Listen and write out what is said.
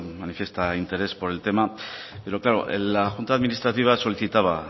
manifiesta interés por el tema pero claro la junta administrativa solicitaba